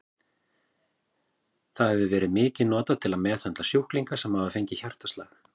Það hefur verið mikið notað til að meðhöndla sjúklinga sem hafa fengið hjartaslag.